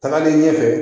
Tagalen ɲɛfɛ